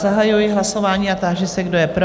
Zahajuji hlasování a táži se, kdo je pro?